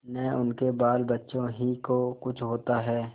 न उनके बालबच्चों ही को कुछ होता है